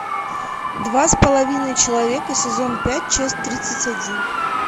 два с половиной человека сезон пять часть тридцать один